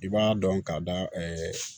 I b'a dɔn k'a da